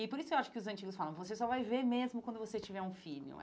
E por isso eu acho que os antigos falam, você só vai ver mesmo quando você tiver um filho.